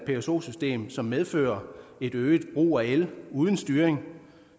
pso system som medfører øget brug af el uden styring